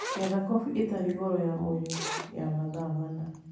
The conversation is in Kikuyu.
ngetha kobĩ ĩtarĩ goro ya mwĩrĩ ya mathaa mana